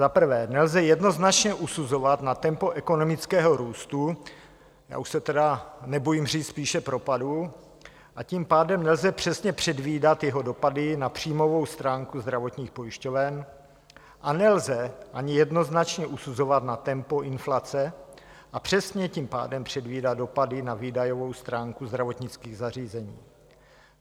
Za prvé nelze jednoznačně usuzovat na tempo ekonomického růstu, já už se tedy nebojím říct spíše propadu, a tím pádem nelze přesně předvídat jeho dopady na příjmovou stránku zdravotních pojišťoven a nelze ani jednoznačně usuzovat na tempo inflace a přesně tím pádem předvídat dopady na výdajovou stránku zdravotnických zařízení.